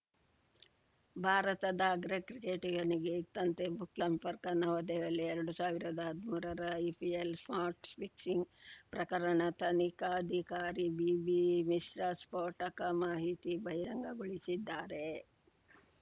ಭಾರತದ ಅಗ್ರ ಕ್ರಿಕೆಟಿಗನಿಗೆ ಇತ್ತಂತೆ ಬುಕ್ಕಿ ಸಂಪರ್ಕ ನವದೆಹಲಿ ಎರಡ್ ಸಾವಿರದ ಹದ್ಮೂರರ ಐಪಿಎಲ್‌ ಸ್ಪಾಟ್‌ ಫಿಕ್ಸಿಂಗ್‌ ಪ್ರಕರಣ ತನಿಖಾಧಿಕಾರಿ ಬಿಬಿಮಿಶ್ರಾ ಸ್ಫೋಟಕ ಮಾಹಿತಿ ಬಹಿರಂಗಗೊಳಿಸಿದ್ದಾರೆ